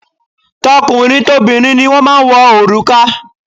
Tọkùnrin tobìnrin ni wọ́n máa ń wọ òrùka